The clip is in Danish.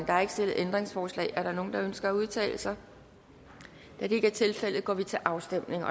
er ikke stillet ændringsforslag er der nogen der ønsker at udtale sig da det ikke er tilfældet går vi til afstemning